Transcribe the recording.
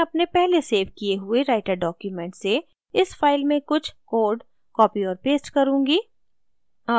मैं अपने पहले सेव किये हुए writer document से इस फाइल में कुछ code copy और paste करुँगी